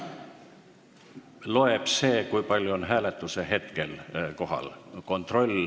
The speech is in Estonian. Loeb see, kui palju on hääletuse hetkel kohal.